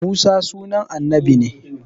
Musa sunan annabi ne